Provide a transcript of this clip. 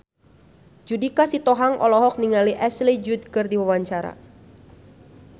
Judika Sitohang olohok ningali Ashley Judd keur diwawancara